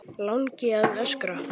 Langi að öskra.